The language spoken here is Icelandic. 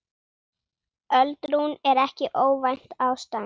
Öldrun er ekki óvænt ástand.